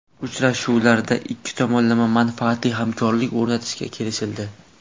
Uchrashuvlarda ikki tomonlama manfaatli hamkorlik o‘rnatishga kelishildi.